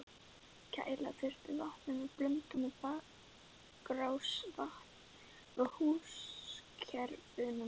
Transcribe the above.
Kæla þurfti vatnið með blöndun við bakrásarvatn frá húskerfunum.